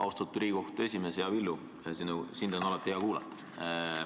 Austatud Riigikohtu esimees, hea Villu, sind on alati hea kuulata.